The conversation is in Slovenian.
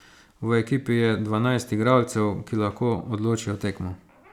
V ekipi je dvanajst igralcev, ki lahko odločijo tekmo.